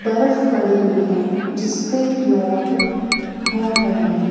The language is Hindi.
बर्फ पड़ी हुई है जिसपे लोग घूम रहे है।